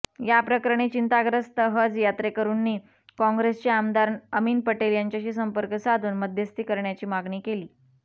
याप्रकरणी चिंताग्रस्त हज यात्रेकरुंनी काँग्रेसचे आमदार अमिन पटेल यांच्याशी संपर्क साधून मध्यस्थी करण्याची मागणी केली